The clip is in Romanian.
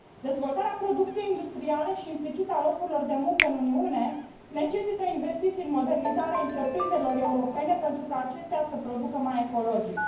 Dezvoltarea producției industriale și, implicit, a locurilor de muncă în Uniune necesită investiții în modernizarea întreprinderilor europene pentru ca acestea să producă mai ecologic.